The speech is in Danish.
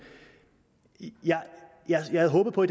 jeg havde håbet på